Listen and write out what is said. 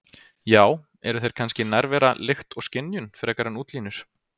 Já- eru þeir kannski nærvera, lykt og skynjun, frekar en útlínur?